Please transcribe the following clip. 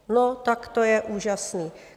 No tak to je úžasné.